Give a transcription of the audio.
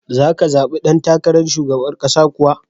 Za ka zabi dan takarar shugaban ƙasa kuwa?